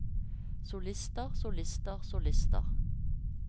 solister solister solister